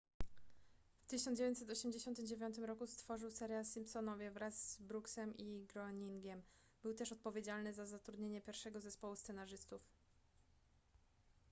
w 1989 roku stworzył serial simpsonowie wraz z brooksem i groeningiem był też odpowiedzialny za zatrudnienie pierwszego zespołu scenarzystów